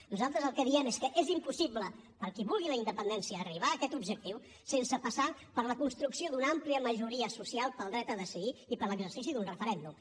nosaltres el que diem és que és impossible per al qui vulgui la independència arribar a aquest objectiu sense passar per la construcció d’una àmplia majoria social pel dret a decidir i per l’exercici d’un referèndum